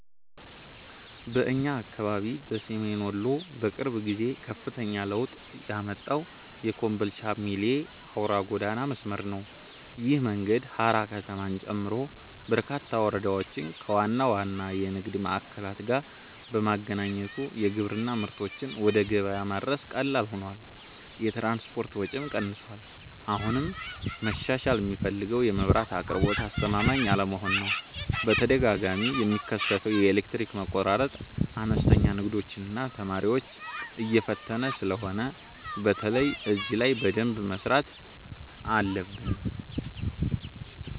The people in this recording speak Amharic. በእኛ አካባቢ በሰሜን ወሎ በቅርብ ጊዜ ከፍተኛ ለውጥ ያመጣው የኮምቦልቻ - ሚሌ አውራ ጎዳና መስመር ነው። ይህ መንገድ ሃራ ከተማን ጨምሮ በርካታ ወረዳዎችን ከዋና ዋና የንግድ ማዕከላት ጋር በማገናኘቱ የግብርና ምርቶችን ወደ ገበያ ማድረስ ቀላል ሆኗል፤ የትራንስፖርት ወጪም ቀንሷል። አሁንም መሻሻል የሚፈልገው የመብራት አቅርቦት አስተማማኝ አለመሆን ነው፤ በተደጋጋሚ የሚከሰተው የኤሌክትሪክ መቆራረጥ አነስተኛ ንግዶችንና ተማሪዎችን እየፈተነ ስለሆነ በተለይ እዚህ ላይ በደንብ መሰራት አለበት።